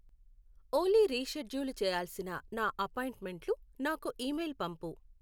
ఓలీ reschedule చెయ్యాల్సిన నా అపాయింట్మెంట్లు నాకు ఇమెయిల్ పంపు.